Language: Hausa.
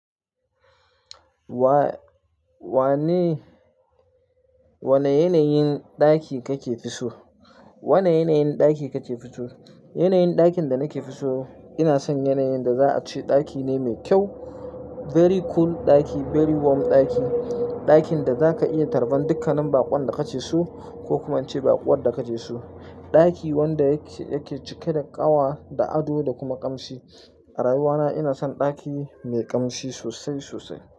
Wa-wane, wane yanayin ɗaki kakefi so? Wane yanayin ɗaki kake so? Yanayin ɗakin da nake so, ina son yanayin da za a ce ɗaki ne mai kyau. Very cool ɗaki, very warm ɗaki. Ɗakin da za ka iya tarban dukkanin baƙon da ka ke su ko kuma ince baƙowar da ka ke su. Ɗaki wanda yake, yake cike da ƙawa da ado da kuma ƙamshi. A rayuwa na ina son ɗaki mai ƙamshi sosai sosai.